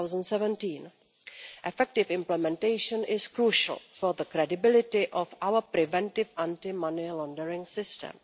2017. Effective implementation is crucial for the credibility of our preventive anti money laundering system.